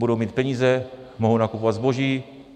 Budou mít peníze, mohou nakupovat zboží.